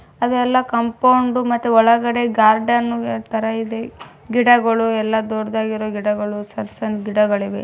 ಅದೆಲ್ಲಾ ಕಂಪೌಂಡ್ ಮತ್ತೆ ಒಳಗಡೆ ಗಾರ್ಡನ್ ತರ ಇದೆ. ಗಿಡಗಳು ಎಲ್ಲಾ ದೊಡ್ದಾಗಿರೋ ಗಿಡಗಳು ಸಣ್ಣ್ ಸಣ್ಣ್ ಗಿಡಗಳಿವೆ.